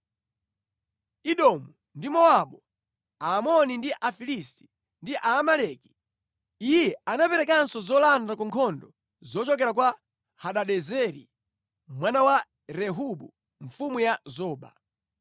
Edomu ndi Mowabu, Aamoni ndi Afilisti, ndi Aamaleki. Iye anaperekanso zolanda ku nkhondo zochokera kwa Hadadezeri mwana wa Rehobu, mfumu ya Zoba.